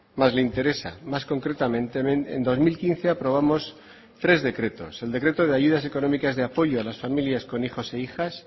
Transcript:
más le interesa más concretamente en dos mil quince aprobamos tres decretos el decreto de ayudas económicas de apoyo a las familias con hijos e hijas